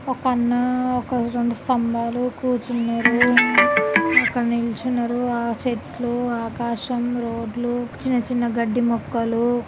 ఒక అన్న రెండు స్తంబాలు కూర్చున్నారు ఇక్కడ నించున్నారు ఆ చెట్లు ఆకాశం రోడ్లు చిన్న చిన్న గడ్డి మొక్కలూ